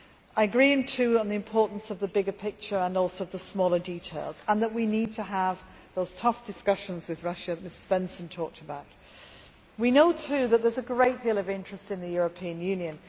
I agree too on the importance of the bigger picture, and also of the smaller details, and that we need to have the tough discussions with Russia that Mr Svensson talked about. We also know that there is a great deal of interest in the European Union.